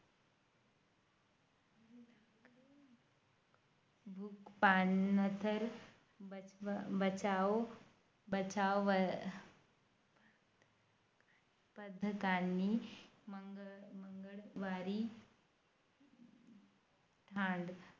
आम्ही सातवी पर्यंत तिथं गेलो. त्या शाळेची वेगळीच मजा होती. त्यानंतर मी सातवीच्या नंतर दुसऱ्या शाळेत गेलो ती होती दहिसरला, दहिसर विद्या मंदिर.